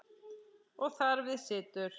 Og þar við situr.